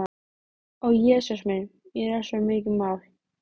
Ó Jesús minn, mér er svo mikið mál.